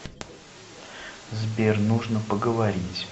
сбер нужно поговорить